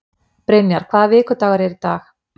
Brynjar, hvaða vikudagur er í dag?